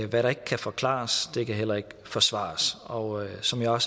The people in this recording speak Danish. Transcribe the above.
hvad der ikke kan forklares kan heller ikke forsvares og som jeg